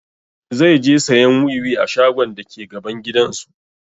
Zai je sayan wiwi a shagon dake gaban gidan su